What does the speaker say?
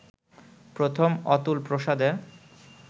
প্রথম অতুল প্রসাদের